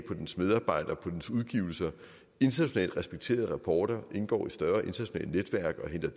på dens medarbejdere på dens udgivelser internationalt respekterede rapporter indgår i større internationale netværk og